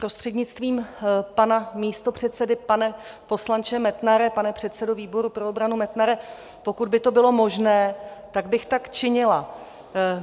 Prostřednictvím pana místopředsedy, pane poslanče Metnare, pane předsedo výboru pro obranu Metnare, pokud by to bylo možné, tak bych tak činila.